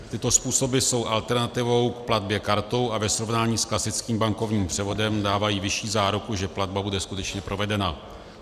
Tyto způsoby jsou alternativou k platbě kartou a ve srovnání s klasickým bankovním převodem dávají vyšší záruku, že platba bude skutečně provedena.